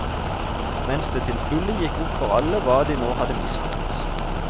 Mens det til fulle gikk opp for alle hva de nå hadde mistet.